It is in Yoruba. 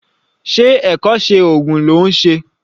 Ṣé ẹ̀kọ́ṣẹ́ oògùn ló ń ṣe?